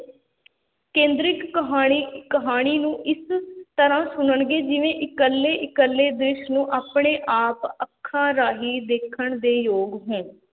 ਕੇਂਦਰਿਕ ਕਹਾਣੀ ਕਹਾਣੀ ਨੂੰ ਇਸ ਤਰ੍ਹਾਂ ਸੁਣਨਗੇ, ਜਿਵੇਂ ਇਕੱਲੇ ਇਕੱਲੇ ਦ੍ਰਿਸ਼ ਨੂੰ ਆਪਣੇ ਆਪ ਅੱਖਾਂ ਰਾਹੀਂ ਦੇਖਣ ਦੇ ਯੋਗ ਹੋਣ।